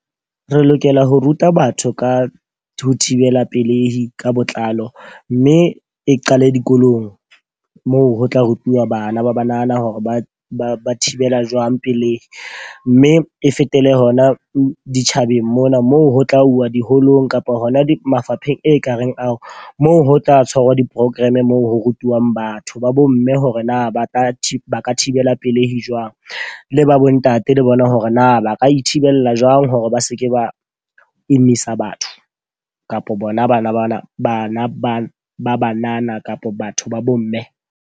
Re lokela ho ruta batho ka ho thibela pelehi ka botlalo. Mme e qale dikolong moo ho tla rutuwa bana ba ba nahana hore ba ba ba thibela jwang pelei. Mme e fetele hona ditjhabeng mona moo ho tla uwa diholong kapa hona mafapheng e kareng ao moo ho tla tshwarwa di-program moo ho rutuwang batho ba bo mme hore na ba ka ba ka thibela pelehi jwang. Le ba bo ntate le bona hore na ba ka ithibela jwang hore ba seke ba emisa batho kapo bona bana bana bana ba banana kapa batho ba bo mme.